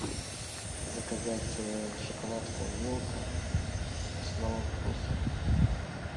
заказать шоколадку милка с новым вкусом